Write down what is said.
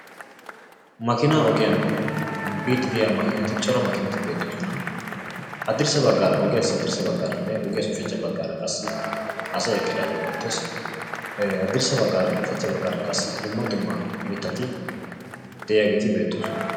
makkiina ogiyan biidi fdiya cora makiinati beetoosona. hadirssa bagaara ogiyassi asay eqidaageti beetoosona. hadirssanne ushachcha bagaara dumma dumma mitati beetoosona.